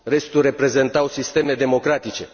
Restul reprezentau sisteme democratice.